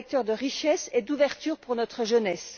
C'est un vecteur de richesse et d'ouverture pour notre jeunesse.